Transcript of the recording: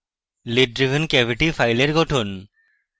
lid driven cavity file গঠন